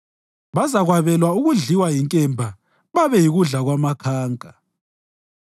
Bazakwabelwa ukudliwa yinkemba babe yikudla kwamakhanka.